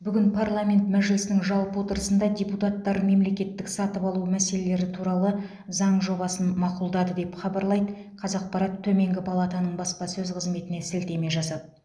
бүгін парламент мәжілісінің жалпы отырысында депутаттар мемлекеттік сатып алу мәселелері туралы заң жобасын мақұлдады деп хабарлайды қазақпарат төменгі палатаның баспасөз қызметіне сілтеме жасап